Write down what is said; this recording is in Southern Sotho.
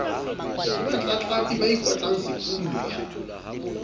ke batlatlapi ba ikotlang sefuba